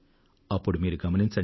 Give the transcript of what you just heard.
అప్పుడు మీరు గమనించండి